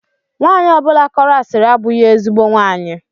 Nwanyi ọbụla kọrọ asiri abụghị ezigbo nwaanyị.